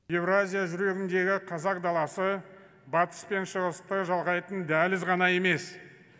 еуразия жүрегіндегі қазақ даласы батыс пен шығысты жалғайтын дәліз ғана емес